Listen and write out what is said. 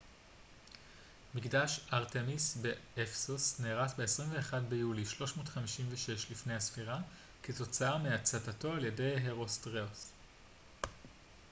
"מקדש ארטמיס באפסוס נהרס ב־21 ביולי 356 לפנה""ס כתוצאה מהצתתו על ידי הרוסטראטוס.